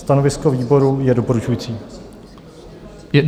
Stanovisko výboru je doporučující.